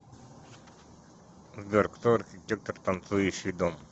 сбер кто архитектор танцующий дом